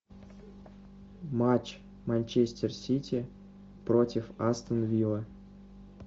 матч манчестер сити против астон виллы